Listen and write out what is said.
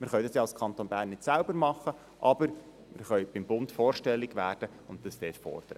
Wir können dies als Kanton Bern zwar nicht selbst tun, aber wir können beim Bund vorstellig werden und dies fordern.